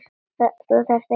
Þú þarft engu að fórna.